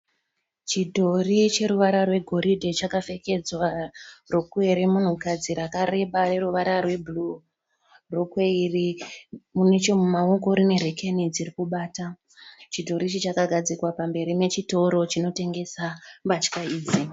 Chidhori cheruvara rwegoridhe chakapfekedzwa rokwe remunhukadzi rakareba reruvara rwebhuruu. Rokwe iri neche mumaoko rine rekeni dziri kubata. Chidhori ichi chakagadzikwa pamberi pechitoro chinotengesa hembe idzi.